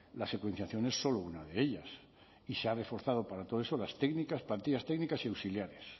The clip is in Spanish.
la secuenciación es solo una de ellas y se ha reforzado para todo eso las técnicas plantillas técnicas y auxiliares